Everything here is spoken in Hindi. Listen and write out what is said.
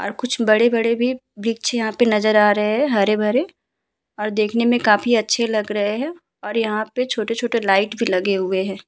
और कुछ बड़े-बड़े भी वृक्ष यहाँ पे नजर आ रहे हैं हरे भरे और देखने मे काफी अच्छे लग रहे हैं और यहाँ पे छोटे-छोटे लाइट भी लगे हुए हैं।